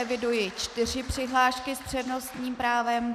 Eviduji čtyři přihlášky s přednostním právem.